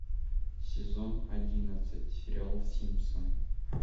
сезон одиннадцать сериал симпсоны